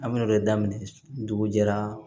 A bɛna o de daminɛ dugu jɛra